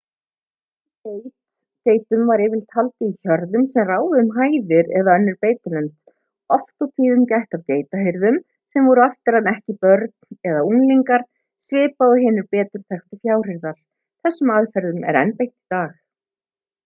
tömdum geitum var yfirleitt haldið í hjörðum sem ráfuðu um hæðir eða önnur beitilönd oft og tíðum gætt af geitahirðum sem voru oftar en ekki börn eða unglingar svipað og hinir betur þekktu fjárhirðar þessum aðferðum er enn beitt í dag